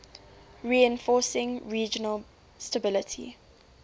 reinforcing regional stability